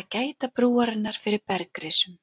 að gæta brúarinnar fyrir bergrisum.